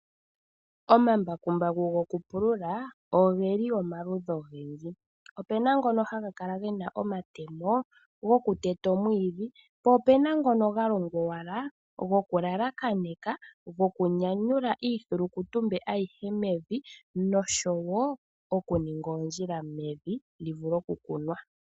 Omambakumbaku gokupulula ogeli omaludhi ogendji, opena ngono haga kala gena omatemo gokuteta omwiidhi, po opuna owala nga gokuyelekanitha nokunyanyula iithilukutumbe yomevi nosho woo okuninga oondjila mevi lyivule okukunwa.